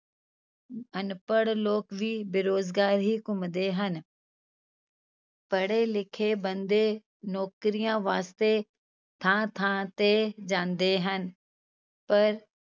ਅਨਪੜ੍ਹ ਲੋਕ ਵੀ ਬੇਰੁਜ਼ਗਾਰ ਹੀ ਘੁੰਮਦੇ ਹਨ ਪੜ੍ਹੇ ਲਿਖੇ ਬੰਦੇ ਨੌਕਰੀਆਂ ਵਾਸਤੇ ਥਾਂ ਥਾਂ ਤੇ ਜਾਂਦੇ ਹਨ, ਪਰ